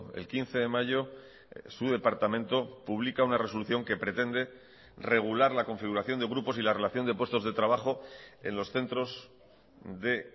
el quince de mayo su departamento publica una resolución que pretende regular la configuración de grupos y la relación de puestos de trabajo en los centros de